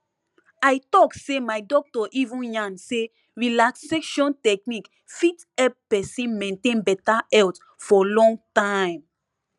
i talk say my doctor even yarn say relaxation technique fit help person maintain beta health for long time